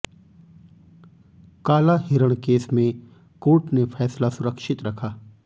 काला हिरण केस में कोर्ट ने फैसला सुरक्षित रखा